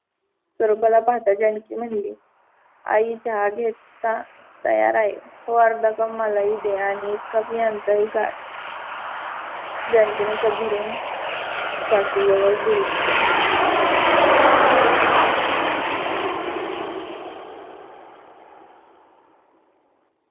स्वरूपाला पाहता जानकी म्हणाली आई चहा घेत तयार आहे. हो अर्धा कप मला ही दे आणि एक कप यांचाही काड. जनकीने कप भरून सासू जवड दिले.